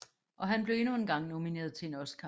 Og han blev endnu engang nomineret til en Oscar